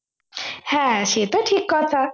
হ্যাঁ সে তো ঠিক কথা